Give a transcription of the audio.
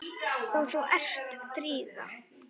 Og þú ert Drífa?